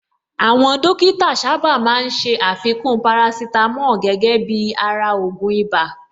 Àwọn Dókítà sáábà máa ń ṣé àfikún parasítámọ̀ gẹ́gẹ́ bíi ara ògùn ibà